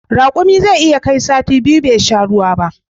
Rakumi zai iya kai sati biyu bai sha ruwa ba